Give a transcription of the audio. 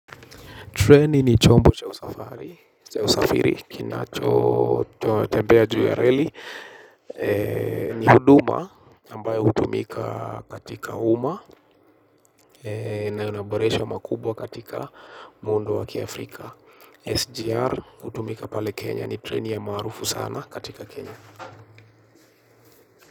Treni ni chombo cha usafiri, kinachotembea juu ya reli. Ni huduma, ambayo hutumika katika UMMA, na ina maboresho makubwa katika muundo wa kiafrika. SGR hutumika pale Kenya ni treni ya maarufu sana katika Kenya.